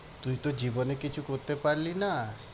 তুই তো জীবনে কিছু করতে পারলি না।